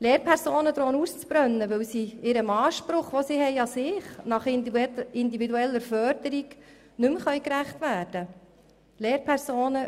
Die Lehrpersonen drohen auszubrennen, weil sie dem Anspruch nach individueller Förderung, den sie sich selber stellen, nicht mehr gerecht werden können.